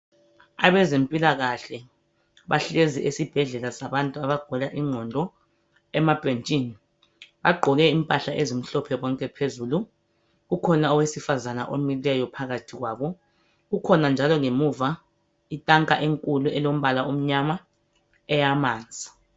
abezempilakahle bahlezi esibhedlela sabantu abagula inqondo emabhentshini bagqoko impahla ezimhlophe bonke phezulu kukhona unkazana omileyo phakathi kwabo kukhona njalo ngemuva itanka enkulu emnyama eyamanzi.